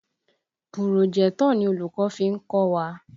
Pùròjẹ́tọ̀ ni olùkọ́ fi ń kọ́ wa.